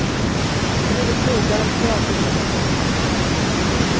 Både krogar och teaterproduktioner har det kärvt.